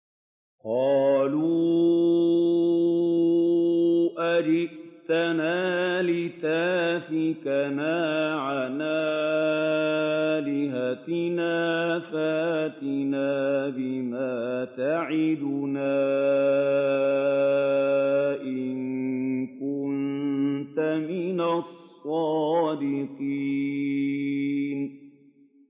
قَالُوا أَجِئْتَنَا لِتَأْفِكَنَا عَنْ آلِهَتِنَا فَأْتِنَا بِمَا تَعِدُنَا إِن كُنتَ مِنَ الصَّادِقِينَ